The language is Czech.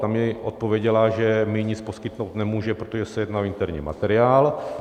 Ta mi odpověděla, že mi nic poskytnout nemůže, protože se jedná o interní materiál.